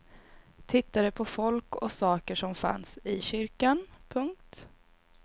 Tittade på folk och saker som fanns i kyrkan. punkt